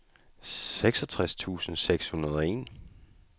seksogtres tusind seks hundrede og en